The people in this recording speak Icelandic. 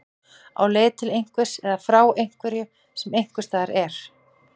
Á leið til einhvers eða frá einhverju sem einhvers staðar er.